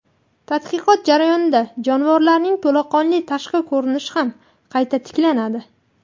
Tadqiqot jarayonida jonivorlarning to‘laqonli tashqi ko‘rinishi ham qayta tiklanadi.